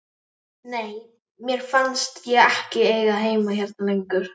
Nei, mér fannst ég ekki eiga heima hérna lengur.